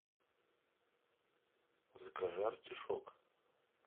закажи артишок